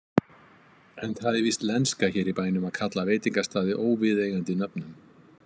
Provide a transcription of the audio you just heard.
En það er víst lenska hér í bænum að kalla veitingastaði óviðeigandi nöfnum.